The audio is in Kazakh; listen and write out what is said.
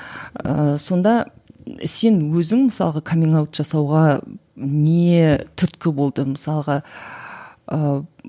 ыыы сонда сен өзің мысалға каминг аут жасауға не түрткі болды мысалға ыыы